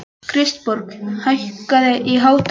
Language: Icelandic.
Kristborg, hækkaðu í hátalaranum.